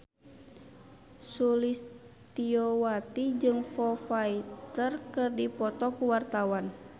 Sulistyowati jeung Foo Fighter keur dipoto ku wartawan